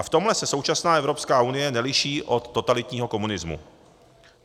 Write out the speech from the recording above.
A v tomhle se současná Evropská unie neliší od totalitního komunismu.